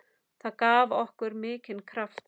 Það gaf okkur mikinn kraft.